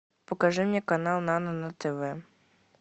покажи мне канал нано на тв